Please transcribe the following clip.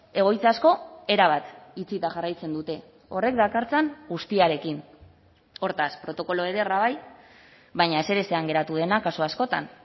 egoitza asko erabat itxita jarraitzen dute horrek dakartzan guztiarekin hortaz protokolo ederra bai baina ezerezean geratu dena kasu askotan